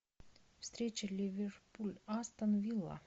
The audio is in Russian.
встреча ливерпуль астон вилла